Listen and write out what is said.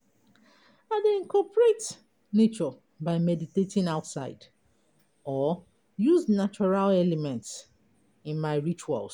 I dey incorporate nature by meditating outside, or use natural elements in my rituals.